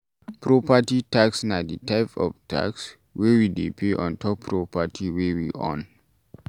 Property tax na di type of tax wey we dey pay ontop property wey we own